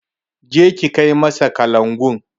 Je ki kai masa kalangun!